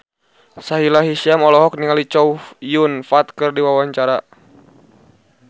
Sahila Hisyam olohok ningali Chow Yun Fat keur diwawancara